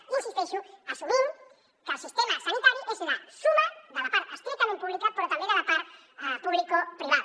i hi insisteixo assumint que el sistema sanitari és la suma de la part estrictament pública però també de la part publicoprivada